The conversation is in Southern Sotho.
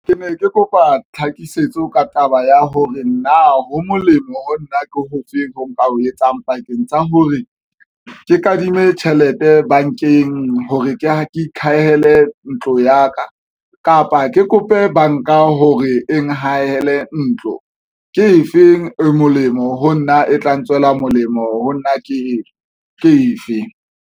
Ke ne ke kopa tlhakisetso ka taba ya hore na ho molemo ho nna ke ofe. Ho nka o etsang pakeng tsa hore ke kadime tjhelete bankeng, hore ke ikhahela ntlo ya ka kapa, ke kope banka hore e haele ntlo ke efeng, e molemo ho nna, e tla ntswela molemo ho nna ke ke efe.